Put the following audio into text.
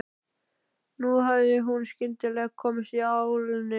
Nú hafði hún skyndilega komist í álnir.